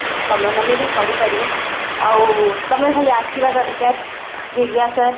ତମେ ମାନେ ବି କରିପାରିବ ଆଉ ତମେ ଖାଲି ଆସିବା ଦରକାର